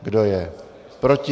Kdo je proti?